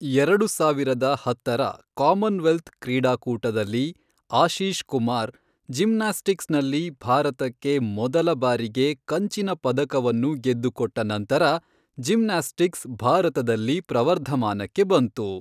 ಎರಡು ಸಾವಿರದ ಹತ್ತರ ಕಾಮನ್ವೆಲ್ತ್ ಕ್ರೀಡಾಕೂಟದಲ್ಲಿ, ಆಶೀಷ್ ಕುಮಾರ್ ಜಿಮ್ನಾಸ್ಟಿಕ್ಸ್ನಲ್ಲಿ ಭಾರತಕ್ಕೆ ಮೊದಲ ಬಾರಿಗೆ ಕಂಚಿನ ಪದಕವನ್ನು ಗೆದ್ದುಕೊಟ್ಟ ನಂತರ ಜಿಮ್ನಾಸ್ಟಿಕ್ಸ್ ಭಾರತದಲ್ಲಿ ಪ್ರವರ್ಧಮಾನಕ್ಕೆ ಬಂತು.